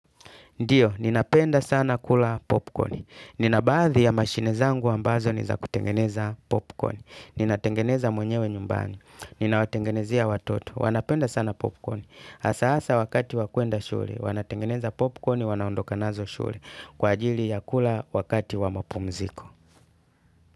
Ndiyo, ninapenda sana kula popcorn. Ninabaadhi ya mashine zangu ambazo ni za kutengeneza popcorn. Ninatengeneza mwenyewe nyumbani. Ninawatengenezea watoto. Wanapenda sana popcorn. Hasa asa wakati wa kwenda shule, wanatengeneza popcorn wanaondoka nazo shule. Kwa ajili ya kula wakati wa mapumziko.